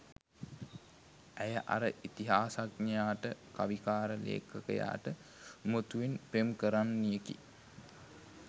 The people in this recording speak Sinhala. ඇය අර ඉතිහාසඥයාට කවිකාර ලේඛකයාට උමතුවෙන් පෙම් කරන්නියකි.